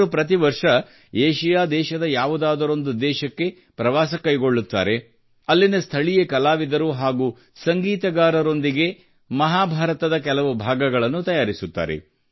ಅವರು ಪ್ರತಿ ವರ್ಷ ಏಷ್ಯಾ ದೇಶದ ಯಾವುದಾದರೊಂದು ದೇಶಕ್ಕೆ ಪ್ರವಾಸ ಕೈಗೊಳ್ಳುತ್ತಾರೆ ಮತ್ತು ಅಲ್ಲಿನ ಸ್ಥಳೀಯ ಕಲಾವಿದರು ಹಾಗೂ ಸಂಗೀತಗಾರರೊಂದಿಗೆ ಮಹಾಭಾರತದ ಕೆಲವು ಭಾಗಗಳನ್ನು ತಯಾರಿಸುತ್ತಾರೆ